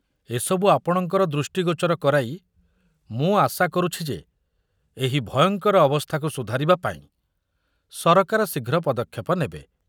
ଏ ସବୁ ଆପଣଙ୍କର ଦୃଷ୍ଟିଗୋଚର କରାଇ ମୁଁ ଆଶା କରୁଛି ଯେ ଏହି ଭୟଙ୍କର ଅବସ୍ଥାକୁ ସୁଧାରିବା ପାଇଁ ସରକାର ଶୀଘ୍ର ପଦକ୍ଷେପ ନେବେ।